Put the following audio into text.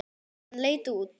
Hann leit út.